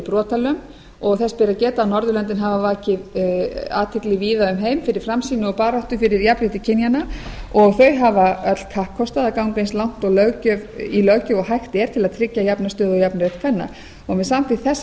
brotalöm og þess ber að geta að norðurlöndin hafa vakið athygli víða um heim fyrir framsýni og baráttu fyrir jafnrétti kynjanna og þau hafa öll kappkostað að ganga eins langt í löggjöf og hægt er til að tryggja jafna stöðu og jafnan rétt kvenna með samþykkt þessa